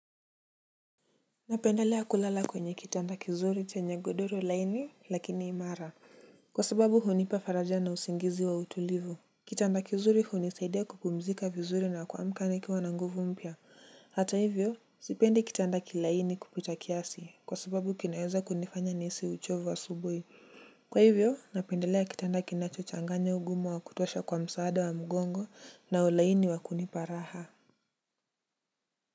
Napendelea kulala kwenye kitanda kizuri chenye godoro laini lakini imara kwa sababu hunipa faraja na usingizi wa utulivu kitanda kizuri hunisaidia kupumzika vizuri na kuamka nikiwa na nguvu mpya hata hivyo sipendi kitanda kilaini kupita kiasi kwa sababu kinaweza kunifanya nihisi uchovu asubuhi kwa hivyo napendelea kitanda kinachochanganya ugumu wa kutosha kwa msaada wa mgongo na ulaini wa kunipa raha.